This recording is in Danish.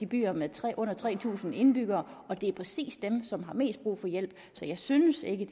byer med under tre tusind indbyggere og det er præcis dem som har mest brug for hjælp så jeg synes ikke